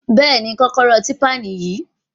Bẹ́ẹ̀ni, kọ́kọ́rọ́ típpà náà níyì